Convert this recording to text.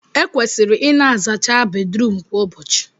Ekwesịrị ịna azacha Bedrum kwa ụbọchị